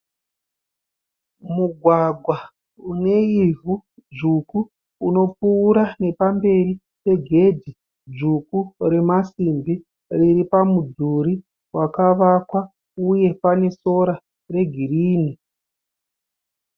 Mugwagwa une ivhu dzvuku unopfuura nepamberi pegedhi dzvuku remasimbi riri pamudhuri wakavakwa uye pane sora regirinhi.